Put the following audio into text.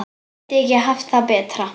Gæti ekki haft það betra.